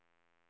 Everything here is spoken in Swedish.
markera